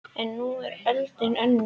En nú er öldin önnur